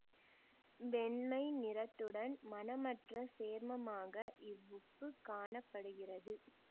வெண்மை நிறத்துடன் மணமற்ற சேர்மமாக இவ்வுப்பு காண படுகிறது